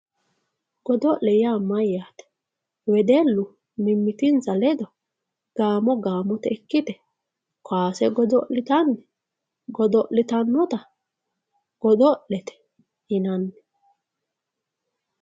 Gidolle ya mayate wedelu mimitinsa ledo gamo gamote ikite kowase godolitanni godolitanotta godolete yinanni